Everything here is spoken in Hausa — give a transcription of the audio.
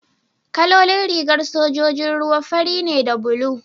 kalolin rigar sojojin ruwa fari ne da bulu